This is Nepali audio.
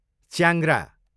च्याङ्ग्रा